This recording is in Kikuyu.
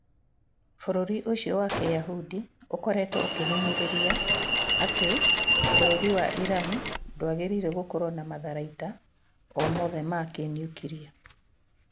Bũrũri ũcio wa kĩyahũndi ũkoretwo ũkĩhinyĩrĩria ati bũrũri wa Iran ndwagĩrĩirwo gũkorwo na matharaita o mothe ma kĩniukiria